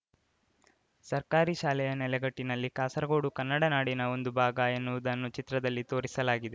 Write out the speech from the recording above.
ಸರ್ಕಾರಿ ಶಾಲೆಯ ನೆಲೆಗಟ್ಟಿನಲ್ಲಿ ಕಾಸರಗೋಡು ಕನ್ನಡ ನಾಡಿನ ಒಂದು ಭಾಗ ಎನ್ನುವುದನ್ನು ಚಿತ್ರದಲ್ಲಿ ತೋರಿಸಲಾಗಿದೆ